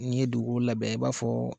N'i ye dugun labɛn i b'a fɔ